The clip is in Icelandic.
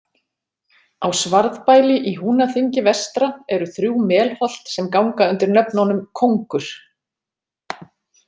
Á Svarðbæli í Húnaþingi vestra eru þrjú melholt sem ganga undir nöfnunum Kóngur.